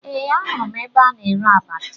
Ee, ahụrụ m ebe a na-ere abacha